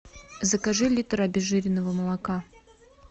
закажи литр обезжиренного молока